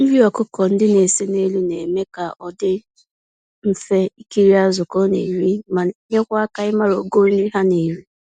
Nri ọkụkọ ndị na-ese n'elu mmiri na-eme ka ọ dị mfe ikiri azụ ka ọ na-eri, ma nyekwa aka ịmara ogo nri ha n'eri